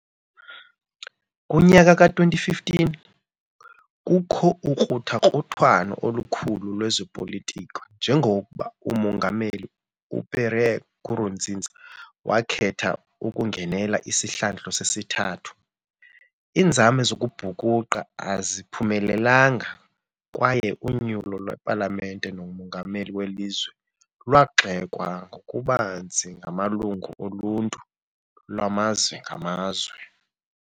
Kunyaka ka-2015 kukho ukruthakruthwano olukhulu lwezopolitiko njengoko umongameli uPierre Nkurunziza wakhetha ukungenela isihlandlo sesithathu, iinzame zokubhukuqa aziphumelelanga kwaye unyulo lwepalamente nomongameli welizwe lwagxekwa ngokubanzi ngamalungu oluntu lwamazwe ngamazwe.